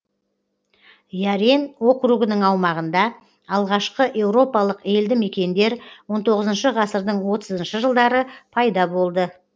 ярен округының аумағында алғашқы еуропалық елді мекендер он тоғызыншы ғасырдың отызыншы жылдары пайда болды